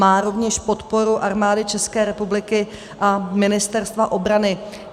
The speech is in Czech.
Má rovněž podporu Armády České republiky a Ministerstva obrany.